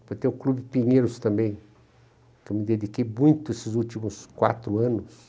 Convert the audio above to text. Depois tem o Clube Pinheiros também, que eu me dediquei muito esses últimos quatro anos.